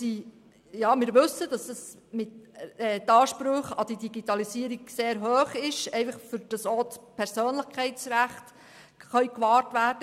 Wir wissen, dass die Ansprüche an die Digitalisierung sehr hoch sind, damit auch die Persönlichkeitsrechte in diesen Bereichen gewahrt werden.